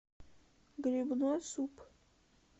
грибной суп